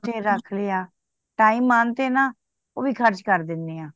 ਰੱਖ ਲਿਆ time ਆਨ ਤੇ ਨਾ ਉਹ ਵੀ ਖਰਚ ਕਰ ਦੇਣੇ ਆ